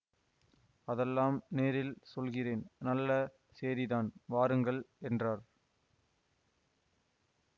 அதெல்லாம் நேரில் சொல்கிறேன் நல்ல சேதிதான் வாருங்கள் என்றார்